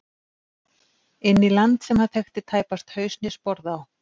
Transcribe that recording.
Inn í land sem hann þekkti tæpast haus né sporð á.